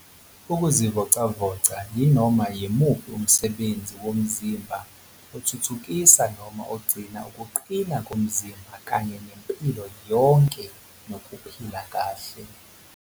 Ukuzivocavoca yinoma yimuphi umsebenzi womzimba othuthukisa noma ogcina ukuqina komzimba kanye nempilo yonke nokuphila kahle.